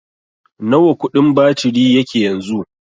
Nawa kudin batiri yake yanzu?